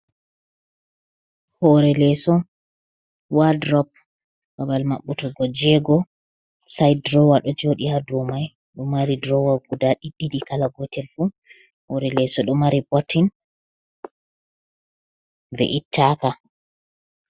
Hoore leeso, wadrop babal maɓɓutugo jeego saayt duroowa ɗo jooɗi haa duow may ɗo mari durowa guda ɗiɗɗiɗi kala gootel fuh, hoore leeso ɗo mari botin. be ittaaka.